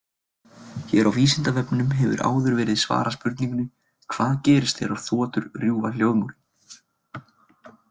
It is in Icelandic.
Hér á Vísindavefnum hefur áður verið svarað spurningunni Hvað gerist þegar þotur rjúfa hljóðmúrinn?